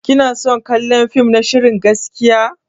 Kina son kallon fim na shirin gaskiya?